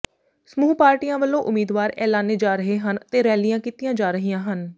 ਸਮੂਹ ਪਾਰਟੀਆਂ ਵੱਲੋਂ ਉਮੀਦਵਾਰ ਐਲਾਨੇ ਜਾ ਰਹੇ ਹਨ ਤੇ ਰੈਲੀਆਂ ਕੀਤੀਆਂ ਜਾ ਰਹੀਆਂ ਹਨ